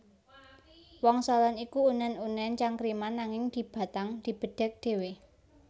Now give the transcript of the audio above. Wangsalan iku unen unen cangkriman nanging dibatang dibedhèk dhéwé